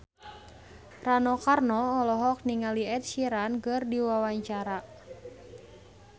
Rano Karno olohok ningali Ed Sheeran keur diwawancara